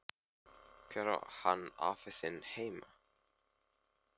Hvar á hann afi þinn heima?